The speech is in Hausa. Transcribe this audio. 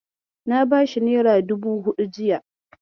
Na bashi nera dubu huɗu jiya.